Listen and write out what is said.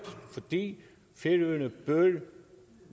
fordi færøerne